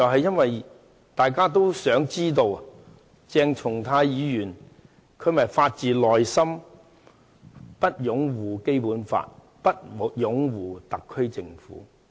因為大家都想知道，鄭松泰議員是否發自內心地拒絕擁護《基本法》和特區政府。